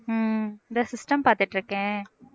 உம் இதா system பார்த்துட்டு இருக்கேன்